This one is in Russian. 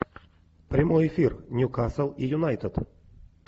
прямой эфир ньюкасл и юнайтед